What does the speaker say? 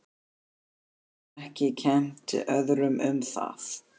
Hún getur ekki kennt öðrum um það.